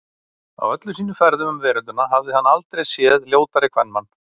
Á öllum sínum ferðum um veröldina hafði hann aldrei séð ljótari kvenmann.